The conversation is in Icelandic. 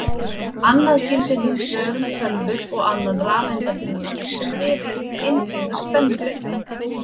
Annað gildir hins vegar um tölvur og annan rafeindabúnað sem er yfirleitt með innbyggða spennubreyta.